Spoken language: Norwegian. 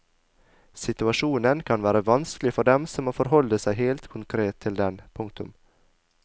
Situasjonen kan være vanskelig for dem som må forholde seg helt konkret til den. punktum